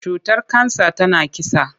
Cutar kansa tana kisa.